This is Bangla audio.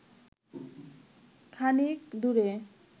খানিক দূরে